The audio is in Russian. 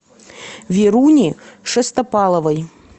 веруни шестопаловой